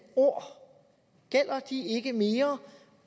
ord gælder de ikke mere